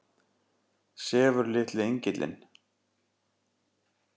Sefur litli engillinn?